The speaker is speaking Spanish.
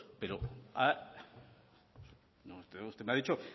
usted me ha dicho